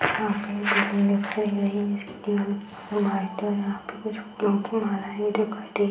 यहाँ पे बिल्डिंग दिखाई दे रही है जिसकी दीवाल व्हाइट है और यहाँ पे कुछ --